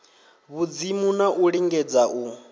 vhudzimu na u lingedza u